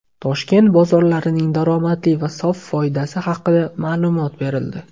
Toshkent bozorlarining daromadi va sof foydasi haqida ma’lumot berildi.